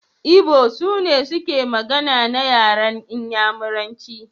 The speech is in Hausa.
Igbo sune suke magana na yaran Inyamuranci.